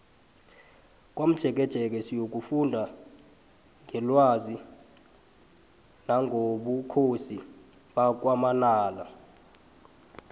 komjekejeke siyokufunda ngelwazi nangobukhosi bakwamanala